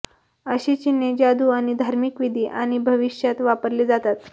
अशी चिन्हे जादू आणि धार्मिक विधी आणि भविष्यात वापरले जातात